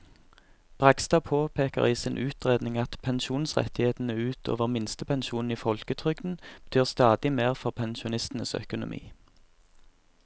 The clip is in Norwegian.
Bragstad påpeker i sin utredning at pensjonsrettighetene ut over minstepensjonen i folketrygden betyr stadig mer for pensjonistenes økonomi.